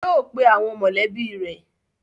Yóò pe àwọn mọ̀lẹ́bí rẹ̀!